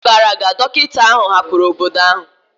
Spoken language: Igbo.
N'afọ gara aga, dọkịta ahụ hapụrụ obodo ahụ.